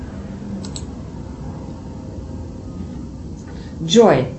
джой